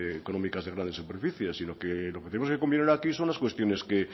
económicas de grandes superficies sino lo que tenemos que cumplir ahora son las cuestiones que